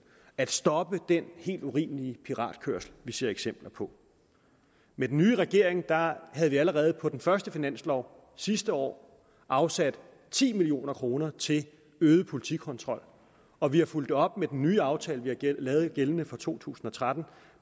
at stoppe den helt urimelige piratkørsel vi ser eksempler på med den nye regering havde vi allerede på den første finanslov sidste år afsat ti million kroner til øget politikontrol og vi har fulgt det op med den nye aftale vi har lavet gældende for to tusind og tretten